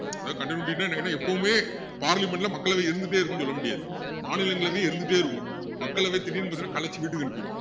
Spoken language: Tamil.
அதாவது continuity ன்னா என்னன்னா எப்பவுமே parliament ல மக்களவை இருந்துட்டே இருக்கும்னு சொல்ல முடியாது மாநிலங்களவை இருந்திட்டே இருக்கும் மக்களவை திடீர்ன்னு பாத்திங்கன்னா கலைச்சு வீட்டுக்கு அனுப்பிருவாங்க